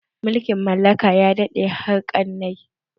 Mulkin mallaka ya daɗe har ƙarnai